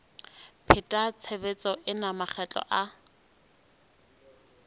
pheta tshebetso ena makgetlo a